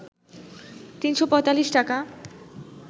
৩৪৫ টাকা